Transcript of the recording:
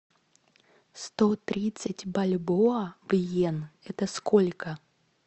сто тридцать бальбоа в йен это сколько